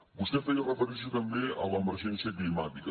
vostè feia referència també a l’emergència climàtica